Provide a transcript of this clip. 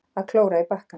Að klóra í bakkann